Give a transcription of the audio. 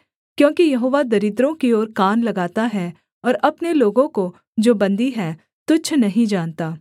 क्योंकि यहोवा दरिद्रों की ओर कान लगाता है और अपने लोगों को जो बन्दी हैं तुच्छ नहीं जानता